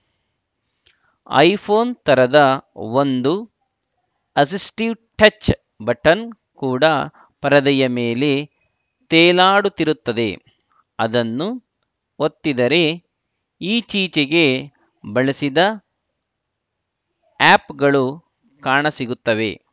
iPhone ಥರದ ಒಂದು assistive touch button ಕೂಡ ಪರದೆಯ ಮೇಲೆ ತೇಲಾಡುತ್ತಿರುತ್ತದೆ ಅದನ್ನು ಒತ್ತಿದರೆ ಈಚೀಚೆಗೆ ಬಳಸಿದ ಆ್ಯಪ್‌ಗಳು ಕಾಣಸಿಗುತ್ತವೆ